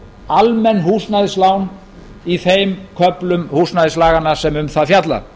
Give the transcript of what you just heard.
almenn húsnæðislán í þeim köflum húsnæðislaganna sem um það fjalla